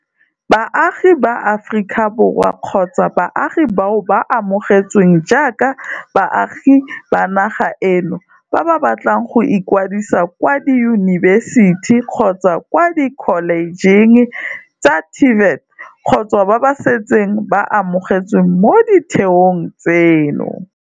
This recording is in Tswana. Baagi ba Aforika Borwa kgotsa baagi bao ba amogetsweng jaaka baagi ba naga eno ba ba batlang go ikwadisa kwa diyunibesiti kgotsa kwa dikholejeng tsa TVET kgotsa ba ba setseng ba amogetswe mo ditheong tseno,